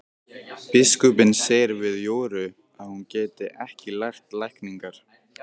Biskupinn segir við Jóru að hún geti lært lækningar.